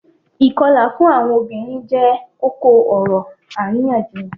Ikọla fun awọn obirin jẹ koko-ọrọ ariyanjiyan.